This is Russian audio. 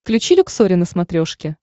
включи люксори на смотрешке